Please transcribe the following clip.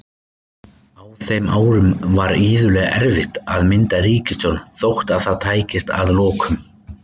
Á þeim árum var iðulega erfitt að mynda ríkisstjórn þótt það tækist að lokum.